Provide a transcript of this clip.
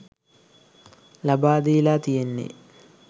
ලබාදීලා තියෙන්නේ..